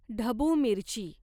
ढबू मिरची